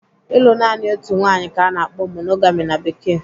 Ịlụ naanị otu nwaanyị ka ana akpọ 'monogami' na Bekee.